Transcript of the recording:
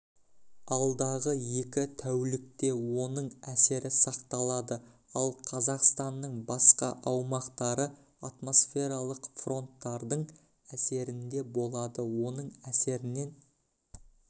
алдағы екі тәулікте оның әсері сақталады ал қазақстанның басқа аумақтары атмосфералық фронттардың әсерінде болады оның әсерінен